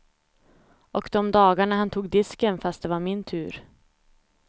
Och de dagarna han tog disken fast det var min tur.